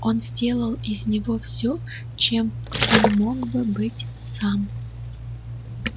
он сделал из него все чем он мог бы быть сам